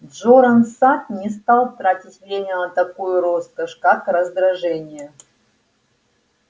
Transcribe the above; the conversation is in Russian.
джоран сатт не стал тратить время на такую роскошь как раздражение